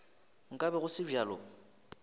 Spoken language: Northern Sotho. nka be go se bjalo